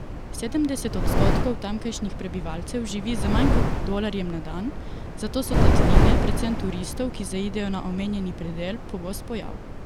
Sedemdeset odstotkov tamkajšnjih prebivalcev živi z manj kot dolarjem na dan, zato so tatvine, predvsem turistov, ki zaidejo na omenjeni predel, pogost pojav.